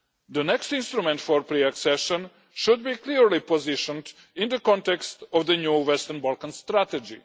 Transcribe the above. The next instrument for pre accession should be clearly positioned in the context of the new Western Balkan strategy.